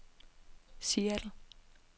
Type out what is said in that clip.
Seattle